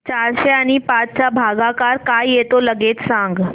चारशे आणि पाच चा भागाकार काय येतो लगेच सांग